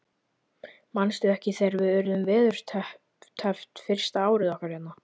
Manstu ekki þegar við urðum veðurteppt fyrsta árið okkar hérna?